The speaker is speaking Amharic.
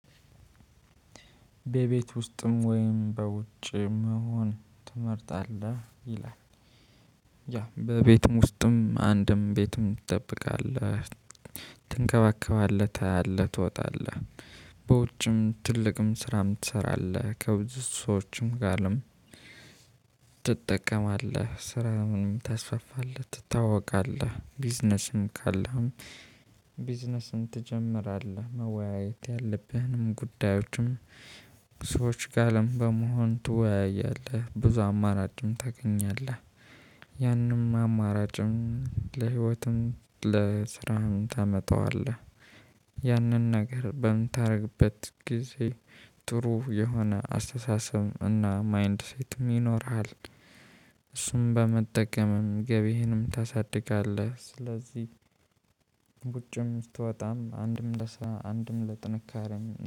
በቤት ውስጥም ወይም በውጭ መሆን ትመርጣለህ ይላል? ያ በቤትም ውስጥም አንድም ቤትም ትጠብቃለህ ትንከባከባለህ ታያለህ ትወጣለህ በውጭም ትልቅም ስራም ትሰራለህ ከብዙ ሰዎችም ጋርም። ትጠቀማለህ ስራ ምንም ታስፋለህ ትታወቃለህ ቢዝነስም ካለህም። ቢዝነስም ትጀምራለህ መወያየት ያለብህንም ጉዳዮችም። ሰዎች ጋርም በመሆን ትወያያለህ ብዙ አማራጭም ታገኛለህ። ያንም አማራጭም ለህይወትም ለስራም ታመጣዋለህ። ያንን ነገር በምታደርግበት ጊዜ ጥሩ የሆነ አስተሳሰብ እና ማይንድ ሴትም ይኖርሃል። እሱም በመጠቀምም ገቢህንም ታሳድጋለህ። ስለዚህ ውጭም ስትወጣም አንድም ለስራ አንድም ለጥንካሬም